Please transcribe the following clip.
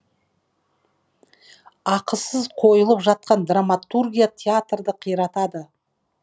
ақысыз қойылып жатқан драматургия театрды қиратады